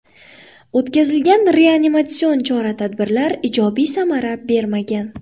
O‘tkazilgan reanimatsion chora-tadbirlar ijobiy samara bermagan.